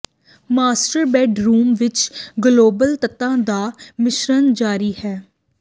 master bedroom ਵਿਚ global ਤੱਤਾਂ ਦਾ ਮਿਸ਼ਰਨ ਜਾਰੀ ਹੈ